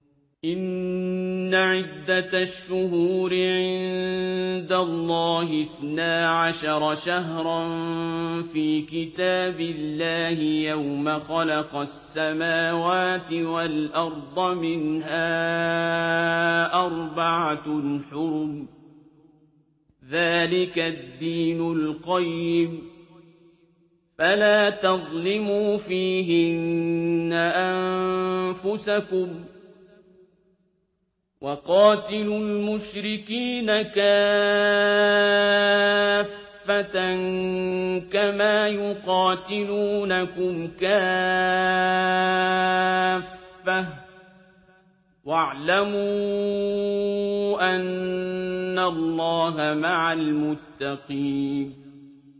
إِنَّ عِدَّةَ الشُّهُورِ عِندَ اللَّهِ اثْنَا عَشَرَ شَهْرًا فِي كِتَابِ اللَّهِ يَوْمَ خَلَقَ السَّمَاوَاتِ وَالْأَرْضَ مِنْهَا أَرْبَعَةٌ حُرُمٌ ۚ ذَٰلِكَ الدِّينُ الْقَيِّمُ ۚ فَلَا تَظْلِمُوا فِيهِنَّ أَنفُسَكُمْ ۚ وَقَاتِلُوا الْمُشْرِكِينَ كَافَّةً كَمَا يُقَاتِلُونَكُمْ كَافَّةً ۚ وَاعْلَمُوا أَنَّ اللَّهَ مَعَ الْمُتَّقِينَ